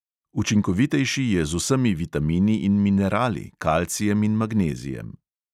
Učinkovitejši je z vsemi vitamini in minerali, kalcijem in magnezijem.